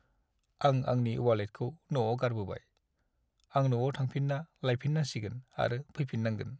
आं आंनि वालेटखौ न'आव गारबोबाय। आं न'आव थांफिन्ना लाइफिननांसिगोन आरो फैफिन्नांगोन।